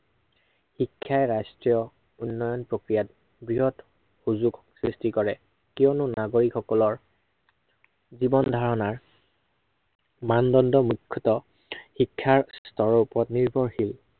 শিক্ষাই ৰাষ্ট্ৰ্ৰীয় উন্নয়ন প্ৰক্ৰিয়াত বৃহত সুযোগ সৃষ্টি কৰে। কিয়নো নাগৰিক সকলৰ জীৱন ধাৰনাৰ মানদণ্ড মূখ্য়তঃ শিক্ষাৰ স্তৰৰ ওপৰত নিৰ্ভৰশীল।